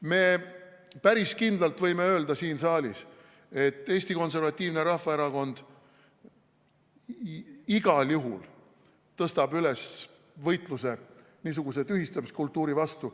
Me päris kindlalt võime öelda siin saalis, et Eesti Konservatiivne Rahvaerakond igal juhul tõstab üles võitluse niisuguse tühistamiskultuuri vastu.